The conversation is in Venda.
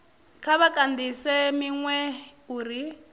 kha vha kandise minwe u